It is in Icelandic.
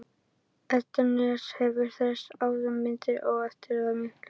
Hvorki Edda né Agnes hafa séð þessa mynd áður og eftirvæntingin er því mikill.